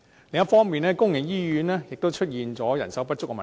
另一方面，公營醫院亦面對人手不足的問題。